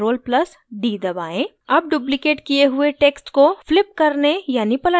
अब duplicated किये हुए text को flip करने यानि पलटने के लिए keyboard पर v दबाएं